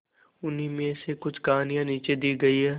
उन्हीं में से कुछ कहानियां नीचे दी गई है